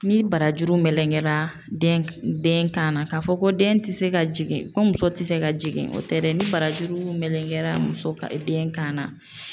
Ni barajuru melenkera den kan na k'a fɔ ko den ti se ka jigin, ko muso te se ka jigin, o tɛ dɛ, ni barajuru melenken na muso den kan na